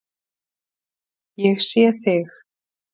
Ég sé þig.